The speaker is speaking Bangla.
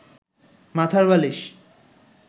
মাথার বালিশ